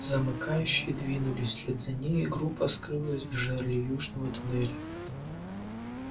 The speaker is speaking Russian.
замыкающие двинулись вслед за ней и группа скрылась в жерле южного туннеля